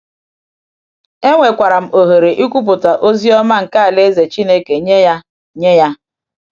Enwekwara m ohere ikwupụta ozi ọma nke Alaeze Chineke nye ya. nye ya.